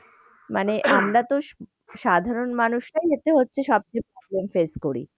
মানে আমরাতো সাধারণ মানুষরাই হচ্ছে সব থেকে problem face করি।